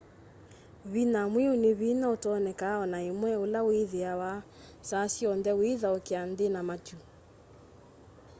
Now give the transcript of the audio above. vinya mwiu ni vinya utonekaa ona imwe ula withiawa saa syonthe withaukia nthi na matu